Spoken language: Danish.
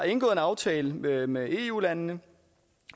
en aftale med med eu landene